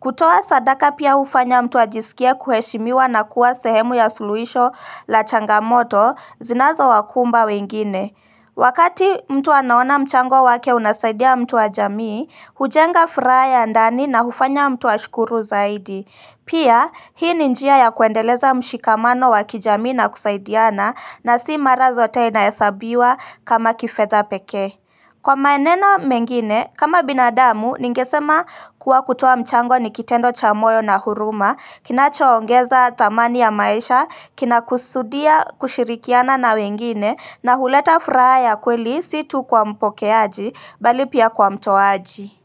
Kutoa sadaka pia ufanya mtu ajisikia kuheshimiwa na kuwa sehemu ya suluhisho la changamoto zinazo wakumba wengine Wakati mtu anaona mchango wake unasaidia mtu wa jamii, hujenga furaha ya ndani na hufanya mtu ashukuru zaidi Pia hii ni njia ya kuendeleza mshikamano wa kijamii na kusaidiana, na sio mara zote inahesabiwa kama kifedha pekee Kwa maneno mengine, kama binadamu, ningesema kuwa kutoa mchango ni kitendo cha moyo na huruma, kinachoongeza thamani ya maisha, kinakusudia kushirikiana na wengine, na huleta furaha ya kweli situ kwa mpokeaji, bali pia kwa mtoaji.